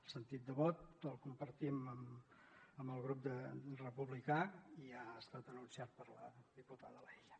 el sentit de vot el compartim amb el grup republicà i ja ha estat anunciat per la diputada laïlla